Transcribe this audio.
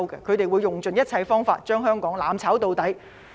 他們會用盡一切方法，將香港"攬炒到底"。